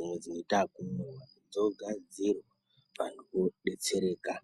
oro dzinoita ekumwiwa, dzogadzirwa vantu vodetsereka.